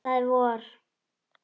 Það er vor.